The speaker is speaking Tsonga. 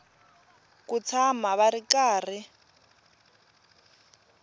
ku tshama va ri karhi